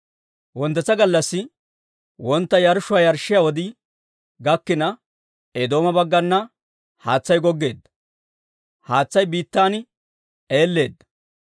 Wonttetsa gallassi wontta yarshshuwaa yarshshiyaa wodii gakkina, Eedooma baggana haatsay goggeedda; haatsay biittan eelleedda.